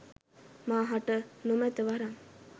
මා හට නොමැත වරම්